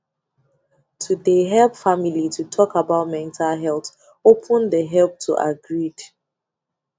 to de help family to talk about mental health open de help to agreed